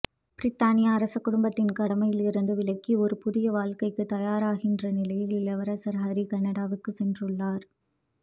பிரித்தானிய அரச குடும்பத்தின் கடமைகளிலிருந்து விலகி ஒரு புதிய வாழ்க்கைக்குத் தயாராகின்ற நிலையில் இளவரசர் ஹரி கனடாவுக்குச் சென்றுள்ளார்